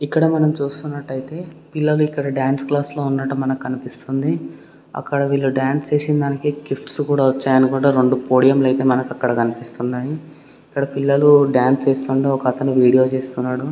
ఇక్కడ మనం చూస్తున్నటైతే పిల్లలు ఇక్కడ డాన్స్ క్లాస్ లో ఉన్నట్టు మనకు కనిపిస్తుంది అక్కడ వీళ్ళు డాన్స్ చేసిన దానికి గిఫ్ట్స్ కూడ వచ్చాయ్ అనికూడ రెండు పోడియం లైట్ లు మనకక్కడ కనిపిస్తున్నాయి ఇక్కడ పిల్లలు డాన్స్ చేస్తుంటే ఒకతను వీడియో తీస్తున్నాడు.